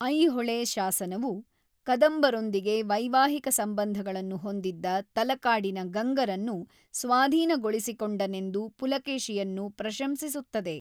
ಐಹೊಳೆ ಶಾಸನವು, ಕದಂಬರೊಂದಿಗೆ ವೈವಾಹಿಕ ಸಂಬಂಧಗಳನ್ನು ಹೊಂದಿದ್ದ ತಲಕಾಡಿನ ಗಂಗರನ್ನು ಸ್ವಾಧೀನಗೊಳಿಸಿಕೊಂಡನೆಂದು ಪುಲಕೇಶಿಯನ್ನು ಪ್ರಶಂಸಿಸುತ್ತದೆ.